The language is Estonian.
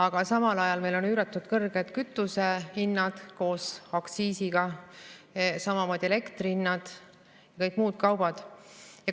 Aga samal ajal on meil üüratult kõrged kütusehinnad koos aktsiisiga, samamoodi elektrihinnad ja kõik muud kaubad.